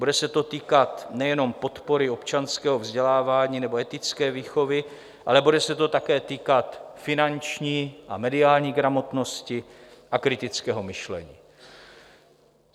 Bude se to týkat nejenom podpory občanského vzdělávání nebo etické výchovy, ale bude se to také týkat finanční a mediální gramotnosti a kritického myšlení.